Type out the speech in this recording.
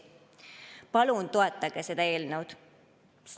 Palun toetage seda eelnõu!